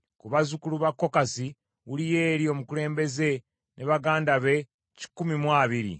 ku bazzukulu ba Kokasi, Uliyeri omukulembeze ne baganda be kikumi mu abiri;